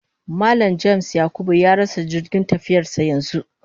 Mallam (James/Yakubu) ya rasa jirgin tafiyarsa yanzu